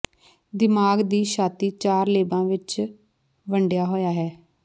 ਦਿਮਾਗ ਦੀ ਛਾਤੀ ਚਾਰ ਲੇਬਾਂ ਵਿੱਚ ਵੰਡਿਆ ਹੋਇਆ ਹੈ